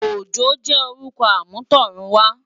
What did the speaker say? Ojo jè órùkò àmútọ̀runwá